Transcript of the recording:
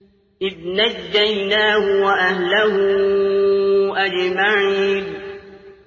إِذْ نَجَّيْنَاهُ وَأَهْلَهُ أَجْمَعِينَ